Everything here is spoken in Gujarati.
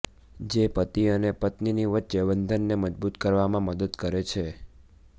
જે પતિ અને પત્નીની વચ્ચે બંધનને મજબૂત કરવામાં મદદ કરે છે